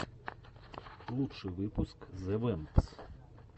лучший выпуск зе вэмпс